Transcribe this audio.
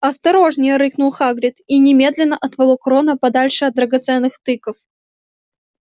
осторожнее рыкнул хагрид и немедленно отволок рона подальше от драгоценных тыкв